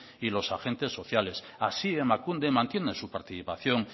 y los agentes sociales así emakunde mantiene su participación